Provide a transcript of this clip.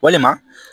Walima